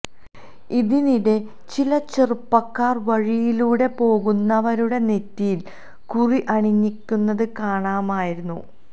ഇതിനിടെ ചില ചെറുപ്പക്കാര് വഴിയിലൂടെ പോകുന്നവരുടെ നെറ്റിയിൽ കുറി അണിയിക്കുന്നതു കാണാമായിരുന്നു